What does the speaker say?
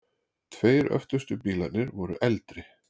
Tveir öftustu bílarnir voru eldri.